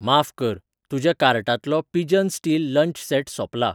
माफ कर, तुज्या कार्टांतलो पिजन स्टील लंच सेट सोंपला